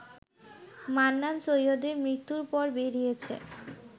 মান্নান সৈয়দের মৃত্যুর পর বেরিয়েছে